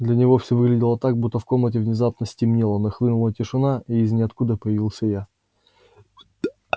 для него всё выглядело так будто в комнате внезапно стемнело нахлынула тишина и из ниоткуда появился я